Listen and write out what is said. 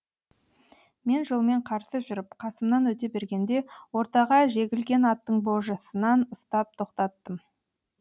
мен жолмен қарсы жүріп қасымнан өте бергенде ортаға жегілген аттың божысынан ұстап тоқтаттым